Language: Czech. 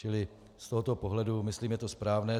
Čili z tohoto pohledu myslím, je to správné.